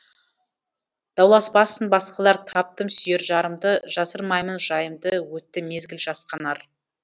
дауласпасын басқалар таптым сүйер жарымды жасырмаймын жайымды өтті мезгіл жасқанар